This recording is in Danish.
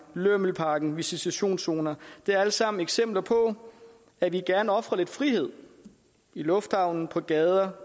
lømmelpakken og visitationszonerne er alt sammen eksempler på at vi gerne ofrer lidt frihed i lufthavnen på gaderne